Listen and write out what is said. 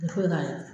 Foyi k'a la